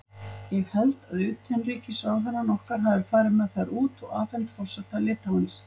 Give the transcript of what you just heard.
Ég held að utanríkisráðherrann okkar hafi farið með þær út og afhent forseta Litháens.